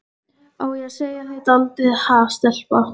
Á ég að segja þér dálítið, ha, stelpa?